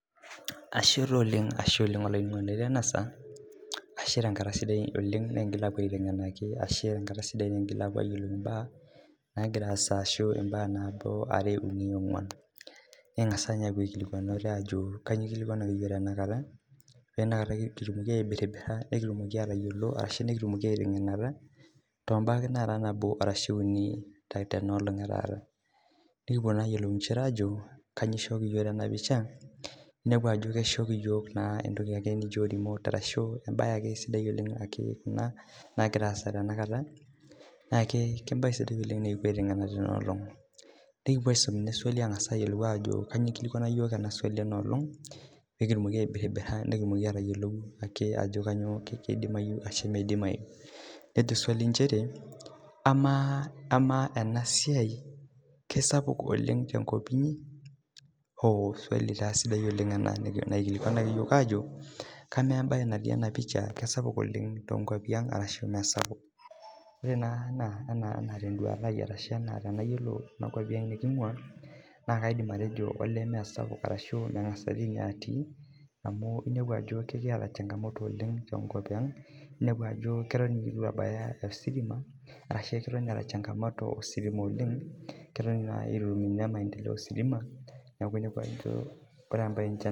Ore naa tee nduata ai ashu too nkwapii naingua naa kaidim atejo olee mee sapuk arashuu mengas atii amu enepu Ajo keton eitu ebaya ositima ashu keton etaa ositima changamoto oleng keton Eton eitu kitum maendeleo ositima